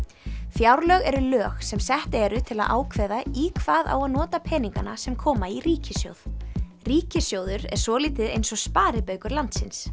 fjárlög eru lög sem sett eru til að ákveða í hvað á að nota peningana sem koma í ríkissjóð ríkissjóður er svolítið eins og sparibaukur landsins